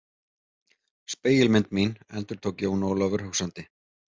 Spegilmynd mín endurtók Jón Ólafur hugsandi.